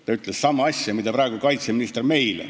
Ta ütles sama asja, mida ütles meile praegune kaitseminister.